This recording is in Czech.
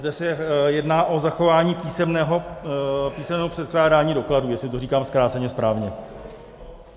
Zde se jedná o zachování písemného předkládání dokladů, jestli to říkám zkráceně správně.